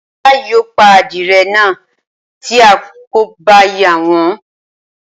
Ajá yìí yóò pa adirẹ̀ náà tí a kò bá yà wọ́n